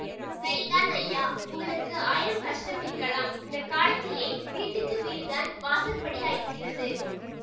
சரிதான் ஐயா உங்களுக்கு ஆயிரம் கஷ்டம் இருக்கலாம் இந்த காலத்திலே வீட்டுக்கு வீடுதான் வாசற்படியாயிருக்கிறது